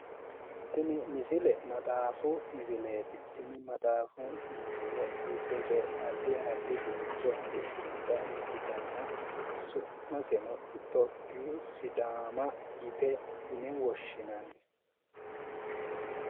tini misile maxaafu misileeti tini maxaafu misile giddose addi addi furcho afidhinota ikkitanna su'maseno itiyophiyu sidaama yine woshshinanni